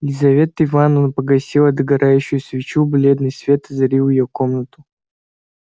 лизавета ивановна погасила догорающую свечу бледный свет озарил её комнату